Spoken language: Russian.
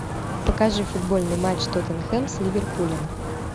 покажи футбольный матч тоттенхэм с ливерпулем